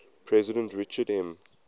president richard m